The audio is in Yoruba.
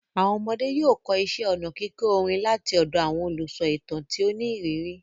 Àwọn ọmọdé yóò kọ́ iṣẹ́ ọnà kíkọ orin láti ọ̀dọ̀ àwọn olùsọ ìtàn tí ó ní ìrírí.